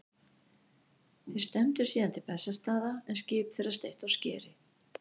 Þeir stefndu síðan til Bessastaða en skip þeirra steytti á skeri.